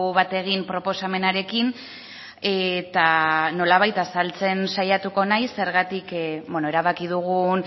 bat egin proposamenarekin eta nolabait azaltzen saiatuko naiz zergatik erabaki dugun